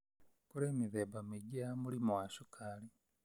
Kũrĩ mĩthemba mĩingĩ ya mũrimũ wa cukari.